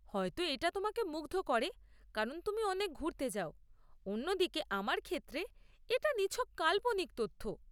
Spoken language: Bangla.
হয়ত এটা তোমাকে মুগ্ধ করে কারণ তুমি অনেক ঘুরতে যাও; অন্যদিকে, আমার ক্ষেত্রে, এটা নিছক কাল্পনিক তথ্য।